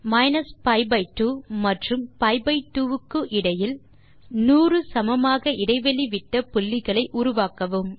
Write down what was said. minus pi by 2 மற்றும் pi by 2 க்கு இடையில் 100 சமமாக இடைவெளி விட்ட புள்ளிகளை உருவாக்கவும்